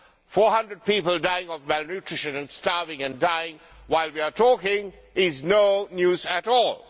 Four hundred people dying of malnutrition and starving and dying while we are talking is no news at all.